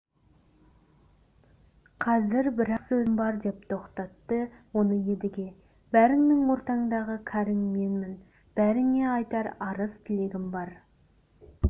қазір бір-ақ сөзім бар деп тоқтатты оны едіге бәріңнің ортаңдағы кәрің менмін бәріңе айтар арыз-тілегім бар